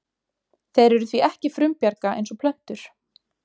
Þeir eru því ekki frumbjarga eins og plöntur.